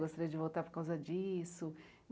Gostaria de voltar por causa disso.